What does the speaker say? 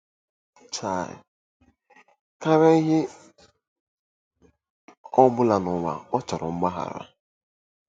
um Karịa ihe ọ bụla n'ụwa, ọ chọrọ mgbaghara.